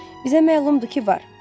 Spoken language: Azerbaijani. Bizə məlumdur ki, var.